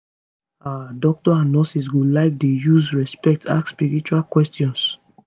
ah doctors and nurses go like dey use respect ask spiritual questions